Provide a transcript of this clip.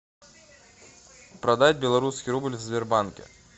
продать белорусский рубль в сбербанке